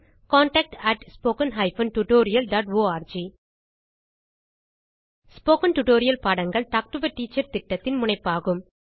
contact at spoken hyphen tutorial dot org spoken tutorial பாடங்கள் talk to a teacher திட்டத்தின் முனைப்பாகும்